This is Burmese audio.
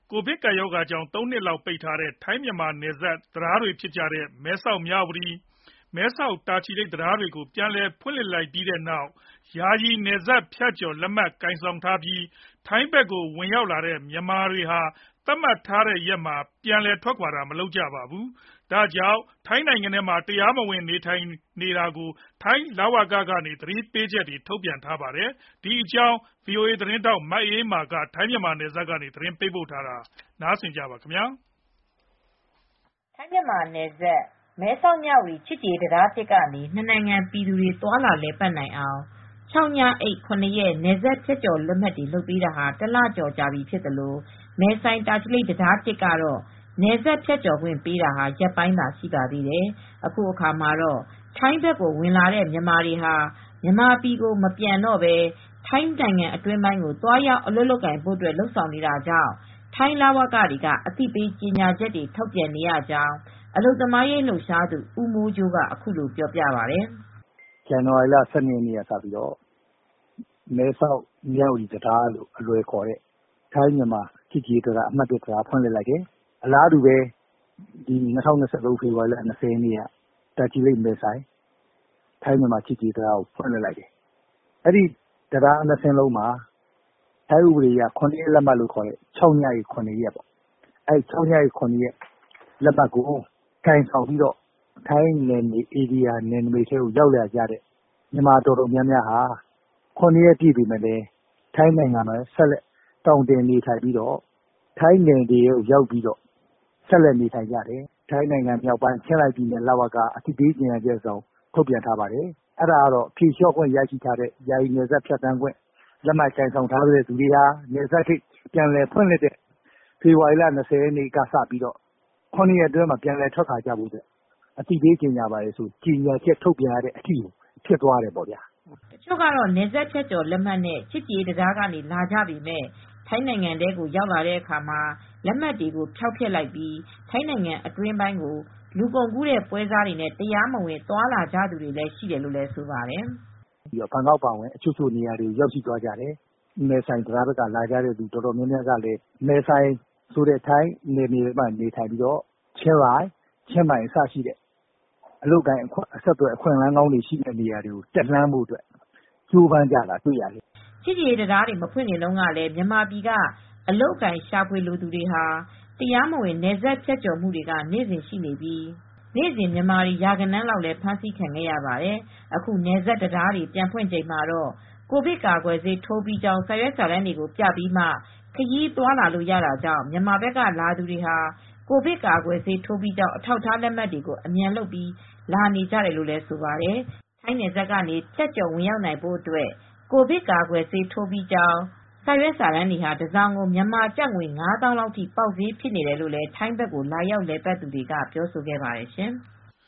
ကိုဗစ် ၁၉ ကပ်ရောဂါကြောင့် ၃ နှစ်ကြာပိတ်ထားခဲ့ရတဲ့ ထိုင်းမြန်မာနယ်စပ်က မဲဆောက်-မြဝတီ ချစ်ကြည်ရေးတံတား နဲ့ မဲဆိုင်-တာချီလိတ် ချစ်ကြည်ရေးတံတား တို့ကိုပြန်လည်ဖွင့်လှစ်လိုက်ပြီးနောက် ယာယီ နယ်စပ်ဖြတ်ကျော် လက်မှတ်ကိုင်ဆောင်ပြီး ထိုင်းဘက်ကိုဝင်လာတဲ့မြန်မာတွေဟာ သတ်မှတ်ထားတဲ့ရက်မှာ ပြန်လည်ထွက်ခွါမသွားကြဘဲ ထိုင်းနိုင်ငံထဲမှာပဲ တရားမဝင်နေထိုင်နေတာကြောင့် ထိုင်းလူဝင်မှုကြီးကြပ်ရေးဌာနက အသိပေးချက်တွေ ထုတ်ပြန်နေပါတယ်။ ဒီသတင်းကို ဗွီအိုအေသတင်းထောက် မအေးအေးမာက သတင်းပေးပို့ထားပါတယ်။ ထိုင်းမြန်မာနယ်စပ်က မဲဆောက်-မြဝတီချစ်ကြည်ရေးတံတား ကနေ နှစ်နိုင်ငံပြည်သူတွေ သွားလာလည်ပတ်နိုင်အောင် ၆ ညအိပ် ၇ ရက် နယ်စပ်ဖြတ်ကျော်လက်မှတ်တွေထုတ်ပေးထားထားတာ တလကျော်ကြာပြီဖြစ်သလို မဲဆိုင်-တာချီလိတ် တံတား ကနေ နယ်စပ်ဖြတ်ကျော်ခွင့်ပေးတာလည်း ရက်ပိုင်းသာရှိပါသေးတယ်။ အခုအခါမှာတော့ ထိုင်းဘက်ကိုဝင်လာတဲ့မြန်မာတွေဟာ မြန်မာပြည်မပြန်တော့ဘဲ ထိုင်းအတွင်းပိုင်းကို သွားရောက်အလုပ်လုပ်ဖို့ လုပ်ဆောင်နေတဲ့အတွက် ထိုင်းလဝကတွေက အသိပေးကြေညာချက်တွေထုတ်ပြန်နေရတယ်လို့ အလုပ်သမားရေး လှုပ်ရှားသူဦးမိုးကြိုးက အခုလိုပြောပါတယ်။ “ဇန်နဝါရီလ ၁၂ ရက်နေ့က မဲဆောက်-မြဝတီတံတားလို့အလွယ်ခေါ်တဲ့ မဲဆောက်-မြဝတီချစ်ကြည်ရေးတံတားဖွင့်လှစ်လိုက်တယ်။ အလားတူပဲ ပြီးခဲ့တဲ့ဖေဖေါ်ဝါရီ ၂၀ ရက်နေ့က မဲဆိုင်-တာချီလိတ်ချစ်ကြည်ရေးတံတားကို ဖွင့်လှစ်လိုက်တယ်။ အဲဒီတံတား၂ စင်းလုံးမှာ ၆ ရက်ညအိပ် ၇ ရက်လက်မှတ်ကိုကိုင်ဆောင်ပြီး ထိုင်းနယ်နမိတ်ထဲကို ရောက်လာကြတဲ့မြန်မာအတော်များများက ထိုင်းနယ်မြေထဲရောက်ပြီးတော့ ၇ ရက်ပြည့်ပေမယ့်လည်း ထိုင်းနိုင်ငံထဲမှာဆက်လက်သောင်တင်ပြီး ဆက်လက်နေထိုင်နေကြတယ်။ ဒီအတွက် ထိုင်းနိုင်ငံမြောက်ပိုင်း ချင်းရိုင်လဝကက အသိပေးကြေညာတာကတော့ ဖြေလျော့ခွင့်ရပြီးနောက် နယ်စပ်ဖြတ်ကျော်ပြီးလာကြတဲ့သူတွေအနေနဲ့ နယ်စပ်ဂိတ်ပြန်ဖွင့်တဲ့ ဖေဖေါ်ဝါရီ ၂၀ ရက်ကနေ ၇ ရက်အတွင်းမှာ ပြန်လည်ထွက်ခါွကြဖို့ဆိုပြီး အသိပေးကြေညာရတဲ့အထိဖြစ်သွားတယ်။” တချို့ကတော့ နယ်စပ်ဖြတ်ကျော်လက်မှတ်နဲ့ ချစ်ကြည်ရေးတံတားကနေ လာကြပေမယ့် ထိုင်းနိုင်ငံထဲကိုရောက်တဲ့အခါ လက်မှတ်တွေကိုဖျောက်ဖျက်လိုက်ပြီး ထိုင်းနိုင်ငံအတွင်းပိုင်းကို လူကုန်ကူးတဲ့ပွဲစားတွေနဲ့တရားမဝင် သွားကြသူတွေ ရှိနေတယ်လို့လည်း ဆိုပါတယ်။ “ဘန်ကောက်အပါအဝင် တချို့နေရာတွေထိရောက်သွားတယ်။ မဲဆိုင်ကိုရောက်တဲ့သူတွေကလည်း ချင်းရိုင်၊ ချင်းမိုင်ထိတက်ပြီး အလုပ်အကိုင်အခွင့်အလန်းကောင်းတွေ ရဖို့အတွက်ကြိုးစားကြတာတွေ့ရတယ်။” ချစ်ကြည်ရေးတံတားတွေမဖွင့်ခင်တုန်းကတည်း မြန်မာပြည်ကအလုပ်အကိုင်ရှာဖွေလိုသူတွေဟာ နေ့စဉ်ဆိုသလို တရားမဝင်နယ်စပ်ဖြတ်ကျော်ဝင်လာနေကြပြီး နေ့စဉ်မြန်မာတွေ ရာဂဏန်းလောက်ဖမ်းဆီးခံခဲ့ရပါတယ်။ အခု နယ်စပ်တံတားတွေပြန်ဖွင့်ချိန်မှတော့ ကိုဗစ်ကာကွယ်ဆေးထိုးပြီးကြောင်းစာရွက်စာတမ်းတွေကို ပြပြီးမှ ခရီးသွားလာလို့ရတာကြောင့် မြန်မာဘက်ကလာသူတွေဟာ ကိုဗစ်ကာကွယ်ဆေးထိုးပြီးကြောင်း အထောက်အထားလက်မှတ်တွေကို အမြန်လုပ်ပြီး လာနေကြနေကြတယ်လို့ဆိုပါတယ်။ ထိုင်းနယ်စပ်ကနေ ဖြတ်ကျော်ဝင်ရောက်နိုင်ဖို့အတွက် ကိုဗစ်ကာကွယ်ဆေးထိုးပြီးကြောင်း စာရွက်စာတမ်းတွေဟာတစောင်ကို မြန်မာကျပ်ငွေ ၅ သောင်းလောက်ထိ ပေါက်ဈေးဖြစ်နေတယ်လို့ ထိုင်းဘက်ကိုလာရောက်လည်ပတ်သူတွေကဆိုပါတယ်ရှင်။